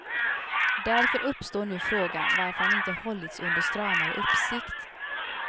Därför uppstår nu frågan varför han inte hållits under stramare uppsikt.